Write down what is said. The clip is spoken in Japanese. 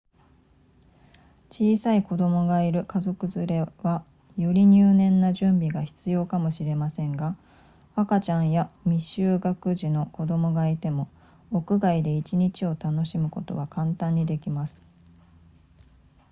小さい子供がいる家族連れはより入念な準備が必要かもしれませんが赤ちゃんや未就学児の子供がいても屋外で1日を楽しむことは簡単にできます